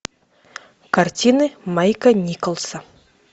картины майка николса